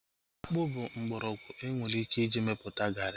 Akpụ bụ mgbọrọgwụ enwere ike iji mepụta garị